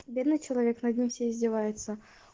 бедный человек над ним все издеваются